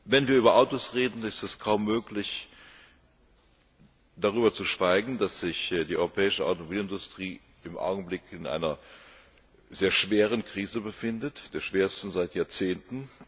Wenn wir über Autos reden, ist es kaum möglich, darüber zu schweigen, dass sich die europäische Automobilindustrie im Augenblick in einer sehr schweren Krise befindet, der schwersten seit Jahrzehnten.